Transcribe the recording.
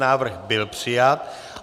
Návrh byl přijat.